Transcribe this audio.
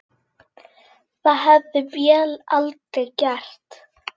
Það hefði vél aldrei gert.